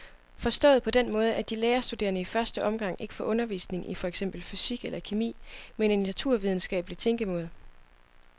Forstået på den måde, at de lærerstuderende i første omgang ikke får undervisning i for eksempel fysik eller kemi, men i naturvidenskabelig tænkemåde.